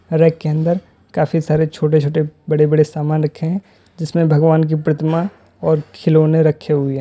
Rack के अंदर काफी सारे छोटे छोटे बड़े बड़े सामान रखें हैं जिसमें भगवान की प्रतिमा और खिलौने रखे हुए हैं।